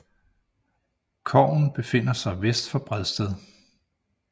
Kogen befinder sig vest for Bredsted